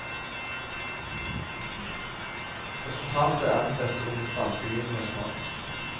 Resultatet er den beste unge spanske vinen vi har smakt.